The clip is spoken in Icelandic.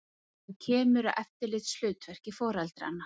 Þar kemur að eftirlitshlutverki foreldranna.